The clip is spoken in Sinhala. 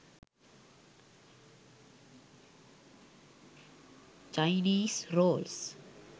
chinese rolls